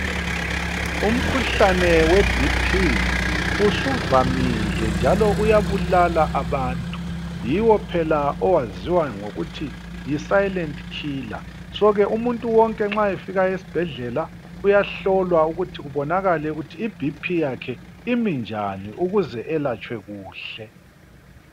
Umkhuhlane we BP usuvamile njalo uyabulala abantu. Yiwo phela owaziwa ngokuthi yi, 'silent killer', so ke umuntu wonke nxa efika esibhedlela uyahlolwa ukuthi kubonakale ukuthi iBP yakhe imi njani ukuze elatshwe kuhle.